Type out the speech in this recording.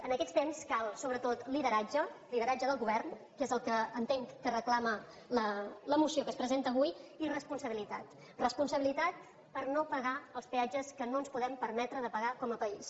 en aquests temps cal sobretot lideratge lideratge del govern que és el que entenc que reclama la moció que es presenta avui i responsabilitat responsabilitat per no pagar els peatges que no ens podem permetre de pagar com a país